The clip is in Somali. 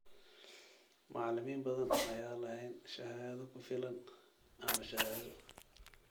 Macallimiin badan ayaan lahayn shahaado ku filan ama shahaado.